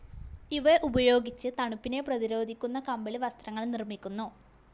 ഇവ ഉപയോഗിച്ച് തണുപ്പിനെ പ്രതിരോധിക്കുന്ന കമ്പിളി വസ്ത്രങ്ങൾ നിർമ്മിക്കുന്നു.